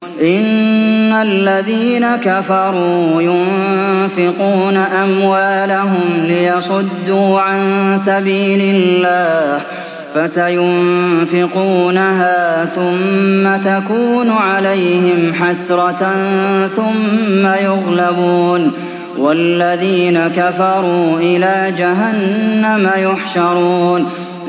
إِنَّ الَّذِينَ كَفَرُوا يُنفِقُونَ أَمْوَالَهُمْ لِيَصُدُّوا عَن سَبِيلِ اللَّهِ ۚ فَسَيُنفِقُونَهَا ثُمَّ تَكُونُ عَلَيْهِمْ حَسْرَةً ثُمَّ يُغْلَبُونَ ۗ وَالَّذِينَ كَفَرُوا إِلَىٰ جَهَنَّمَ يُحْشَرُونَ